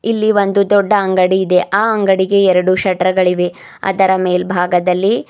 ಎಲ್ಲಿ ಒಂದು ದೊಡ್ಡ ಅಂಗಡಿ ಇದೆ ಆ ಅಂಗಡಿಗೆ ಎರಡು ಶಟರ್ ಗಳಿವೆ ಅದರ ಮೇಲ್ಭಾಗದಲ್ಲಿ--